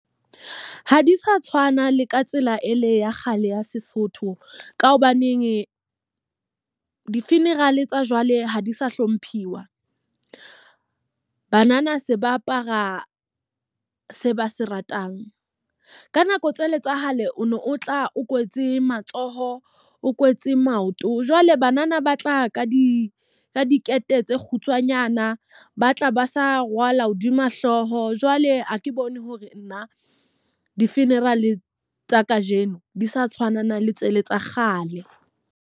Ha di sa tshwana le ka tsela e le ya kgale ya Sesotho. Ka hobaneneng di-funeral tsa jwale ha di sa hlomphiwa. Banana se ba apara se ba se ratang. Ka nako tse le tsa hale o no o tla o kwetse matsoho, o kwetse maoto. Jwale banana ba tla ka di ka dikete tse kgutswanyana, ba tla ba sa rwala hodima hlooho. Jwale ha ke bone hore nna di-funeral tsa ka jeno di sa tshwana le tsele tsa kgale.